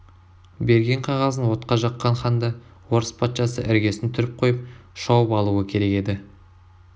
берген қағазын отқа жаққан ханды орыс патшасы іргесін түріп қойып шауып алуы керек еді